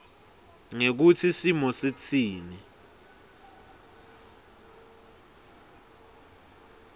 ngekutsi simo sitsini